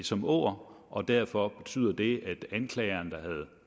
som åger og derfor betyder det at anklageren havde